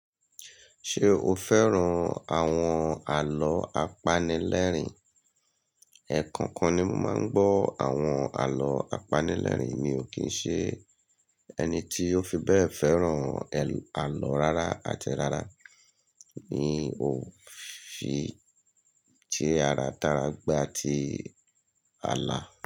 Ṣe o fẹ́ran awọn àlọ́ apanilẹ́rìn? Ẹ̀ẹ̀kọ̀kan ni mo máà ń gbọ̀ awọn àlọ́ apanilẹ́rìn, mi ó kín ṣẹ́ ẹni ti o fí bẹ́ẹ̀ fẹ́ran àlọ́ rárá àtì rárá. Mi ó fi ti ara, tará gbà ti àlà.